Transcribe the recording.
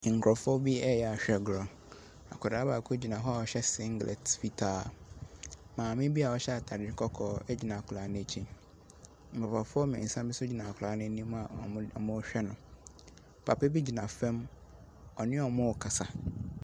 Nkorɔfoɔ bi ɛreyɛ ahwɛgorɔ, akwadaa baako gyina hɔ a ɔhyɛ singlet fitaa. Maame bi a ɔhyɛ atare kɔkɔɔ agyina akwadaa no akyi, papafoɔ mmiɛnsa no nso agyina akwadaa no anim a wɔrehwɛ no. papa bi gyina fam, ɔne wɔn ɛrekasa.